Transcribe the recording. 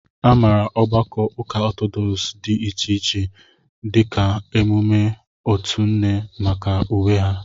A maara ogbakọ ụka Ọtọdọks dị iche iche (dịka ọmụmaatụ otu nne) maka uwe ha.